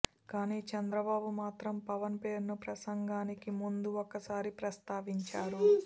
కాని చంద్రబాబు మాత్రం పవన్ పేరును ప్రసంగానికి ముందు ఒకసారి ప్రస్తావించారు